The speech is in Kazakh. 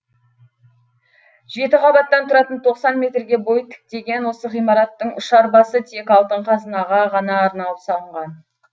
жеті қабаттан тұратын тоқсан метрге бой тіктеген осы ғимараттың ұшар басы тек алтын қазынаға ғана арналып салынған